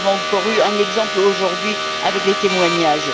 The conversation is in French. Nous en avons encore eu un exemple aujourd'hui par ces témoignages.